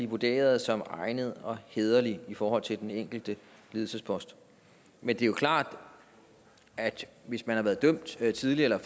vurderes egnet og hæderlig i forhold til den enkelte ledelsespost men det er klart at hvis man har været dømt tidligere eller